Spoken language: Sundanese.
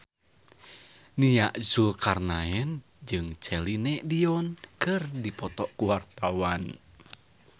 Nia Zulkarnaen jeung Celine Dion keur dipoto ku wartawan